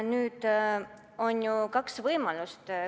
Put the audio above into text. Nüüd on ju kaks võimalust.